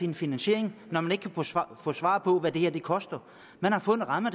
en finansiering når man ikke kan få svar få svar på hvad det her koster man har fået en ramme